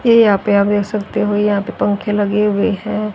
है आप यहां पे देख सकते हो यहां पे पंखे लगे हुए हैं।